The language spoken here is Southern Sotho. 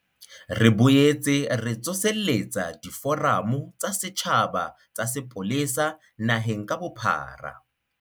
Re boetse re tsoseletsa diforamo tsa setjhaba tsa sepolesa naheng ka bophara.